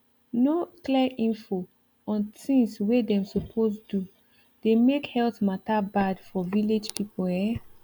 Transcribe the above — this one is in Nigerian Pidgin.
no clear info on things wey dem suppose do dey make do dey make health matter bad for village people ehn